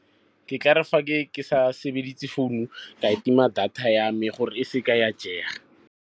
Ke ka re fa ke sa sebedise founu ka e tima data ya me gore e seke ya jega.